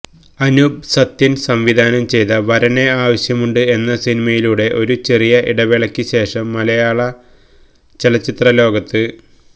അനൂപ് സത്യൻ സംവിധാനം ചെയ്ത വരനെ ആവശ്യമുണ്ട് എന്ന സിനിമയിലൂടെ ഒരു ചെറിയ ഇടവേളയ്ക്ക് ശേഷം മലയാള ചലച്ചിത്ര ലോകത്ത്